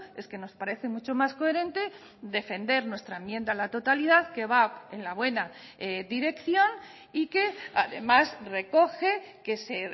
es que nos parece mucho más coherente defender nuestra enmienda a la totalidad que va en la buena dirección y que además recoge que se